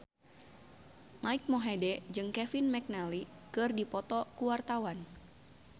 Mike Mohede jeung Kevin McNally keur dipoto ku wartawan